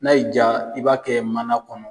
N'a y'i diya i b'a kɛ mana kɔnɔ